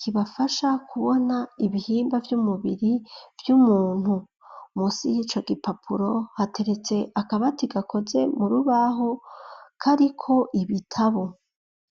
kibafasha kubona ibihimba vy'umubiri vy'umuntu munsi y'ico gipapuro hateretse akabati gakoze mu rubaho kariko ibitabu.